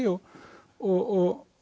og og